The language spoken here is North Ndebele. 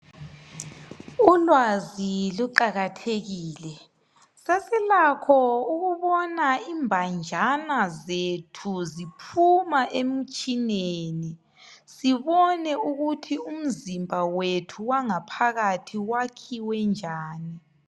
Ulwazi kuqakathekile, sesilakho ukubona imbanjana zethu ziphuma emitshineni, sibone ukuthi umzimba wethu wangaphakathi wakhiwe njani.